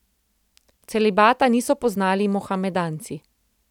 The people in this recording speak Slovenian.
Celibata niso poznali mohamedanci.